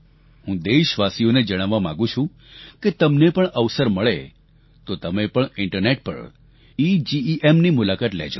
હું દેશવાસીઓને જણાવવા માંગું છું કે તમને પણ અવસર મળે તો તમે પણ ઇન્ટરનેટ પર ઇજીઇએમ ની મુલાકાત લેજો